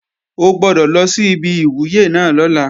O gbọ́dọ̀ lọ sí ibi ìwúyè náà lọ́la!